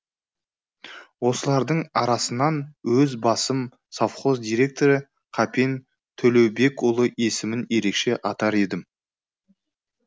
осылардың арасынан өз басым совхоз директоры қапен төлеубекұлы есімін ерекше атар едім